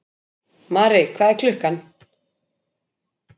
Mari, hvað er klukkan?